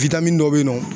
dɔw bɛ yen nɔ